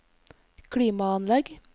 klimaanlegg